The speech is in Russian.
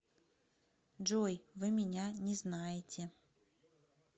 джой вы меня не знаете